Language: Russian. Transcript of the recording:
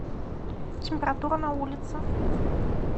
температура на улице